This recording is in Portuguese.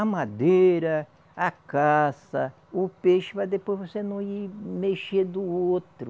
A madeira, a caça, o peixe, para depois você não ir mexer do outro.